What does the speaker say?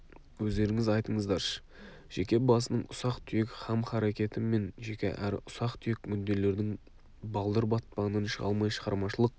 өздеріңіз айтыңыздаршы жеке басының ұсақ-түйек хам-харакеті мен жеке әрі ұсақ-түйек мүдделердің балдыр батпағынан шыға алмай шығармашылық